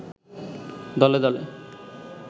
দলে দলে